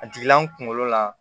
A jiginna n kunkolo la